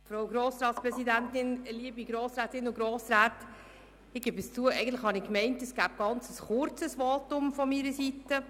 Ich gestehe, dass ich geglaubt habe, es gebe nur ein kurzes Votum von meiner Seite.